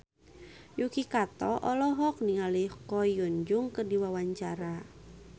Yuki Kato olohok ningali Ko Hyun Jung keur diwawancara